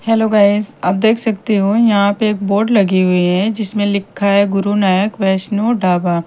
Hello guys आप देख सकते हो यहां पे एक बोर्ड लगी हुई है जिसमें लिखा है गुरुनानक वैष्णु डाबा।